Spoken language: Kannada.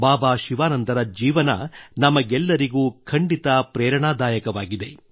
ಬಾಬಾ ಶಿವಾನಂದರ ಜೀವನ ನಮಗೆಲ್ಲರಿಗೂ ಖಂಡಿತ ಪ್ರೇರಣಾದಾಯಕವಾಗಿದೆ